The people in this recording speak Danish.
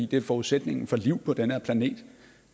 det er forudsætningen for liv på den her planet